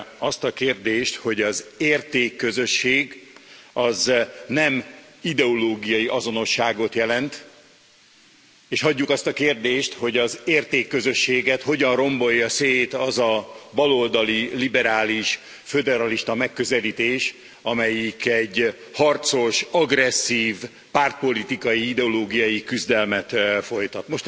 Azt a kérdést, hogy az értékközösség nem ideológiai azonosságot jelent, és hagyjuk azt a kérdést, hogy az értékközösséget hogyan rombolja szét az a baloldali, liberális, föderalista megközelítés, amelyik egy harcos, agresszív, pártpolitikai, ideológiai küzdelmet folytat.